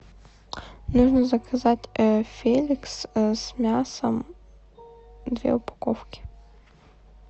нужно заказать феликс с мясом две упаковки